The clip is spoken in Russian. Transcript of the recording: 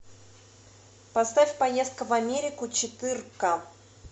поставь поездка в америку четырка